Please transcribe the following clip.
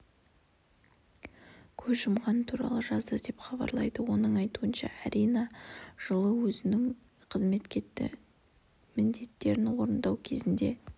көз жұмғаны туралы жазды деп хабарлайды оның айтуынша арина жылы өзінің қызметтік міндеттерін орындау кезінде